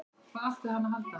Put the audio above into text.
Hvað átti hann að halda?